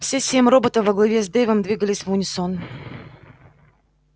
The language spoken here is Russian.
все семь роботов во главе с дейвом двигались в унисон